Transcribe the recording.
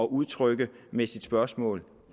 udtrykke med sit spørgsmål